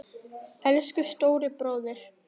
Elsku stóri bróðir.